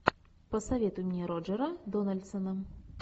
посоветуй мне роджера дональдсона